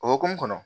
O hokumu kɔnɔ